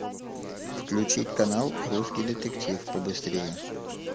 включить канал русский детектив побыстрее